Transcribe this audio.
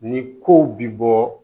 Ni kow bi bɔ